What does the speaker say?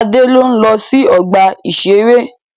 Adé ń ó ń lọ sí ọgbà-ìṣeré.